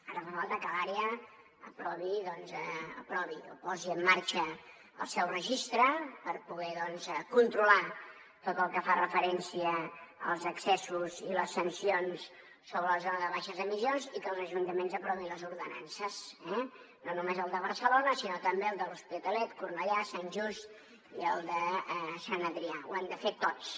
ara fa falta que l’àrea posi en marxa el seu registre per poder controlar tot el que fa referència als accessos i les sancions sobre la zona de baixes emissions i que els ajuntaments n’aprovin les ordenances eh no només el de barcelona sinó també els de l’hospitalet cornellà sant just i sant adrià ho han de fer tots